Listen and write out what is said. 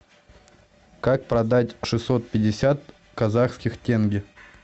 как продать шестьсот пятьдесят казахских тенге